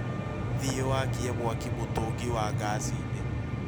Thiĩ wakie mwaki mũtũngi wa ngaci inĩ